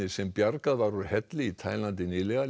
sem bjargað var úr helli í Taílandi nýlega